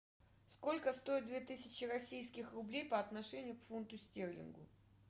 сколько стоит две тысячи российских рублей по отношению к фунту стерлингу